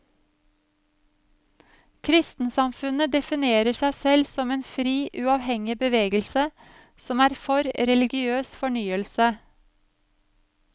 Kristensamfunnet definerer seg selv som en fri, uavhengig bevegelse, som er for religiøs fornyelse.